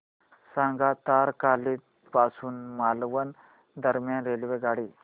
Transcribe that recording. सांगा तारकर्ली पासून मालवण दरम्यान रेल्वेगाडी